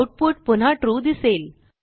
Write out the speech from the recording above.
output पुन्हा true दिसेल